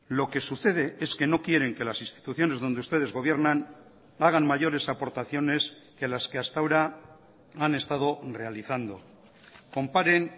lo que sucede es que no quieren que las instituciones donde ustedes gobiernan hagan mayores aportaciones que las que hasta ahora han estado realizando comparen